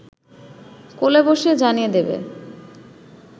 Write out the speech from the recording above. কোলে বসে জানিয়ে দেবে